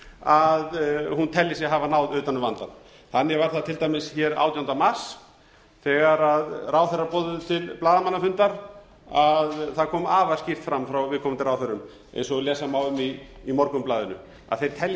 að hún telji sig hafa náð utan um vandann þannig var það til dæmis átjánda mars þegar ráðherrar boðuðu til blaðamannafundar að það kom afar skýrt fram frá viðkomandi ráðherrum eins og lesa má um í morgunblaðinu að þeir telji